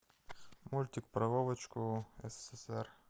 мультик про вовочку ссср